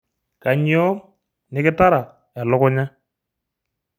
Kainyoo nikitara elukunya?